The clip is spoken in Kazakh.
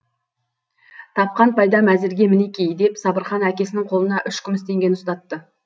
тапқан пайдам әзірге мінеки деп сабырхан әкесінің қолына үш күміс теңгені ұстатады